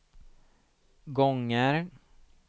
gånger